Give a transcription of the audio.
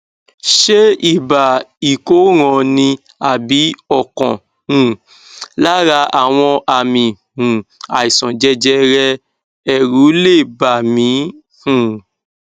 ṣé ibà ìkóràn ni àbí ọkan um lára àwọn àmì um àìsàn jẹjẹrẹ èrù lè bà mí um